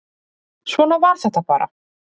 Svona var þetta bara.